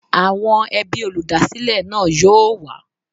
Àwọn ẹbí olúdásílè náà yóò wá.